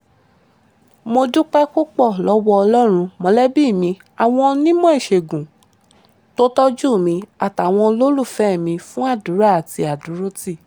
mo dúpẹ́ púpọ̀ lọ́wọ́ ọlọ́run mọ̀lẹ́bí mi àwọn onímọ̀ ìṣègùn tó tọ́jú mi àtàwọn olólùfẹ́ mi fún àdúrà àti àdúrótì